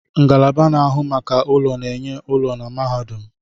Ngalaba na-ahụ maka ụlọ na-enye ụlọ na mahadum